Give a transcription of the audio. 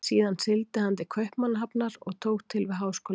Síðan sigldi hann til Kaupmannahafnar og tók til við háskólanám.